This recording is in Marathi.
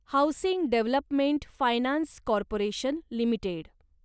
housing development finance corporation limited